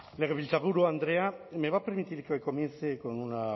legebiltzarburu andrea me va a permitir que comience con una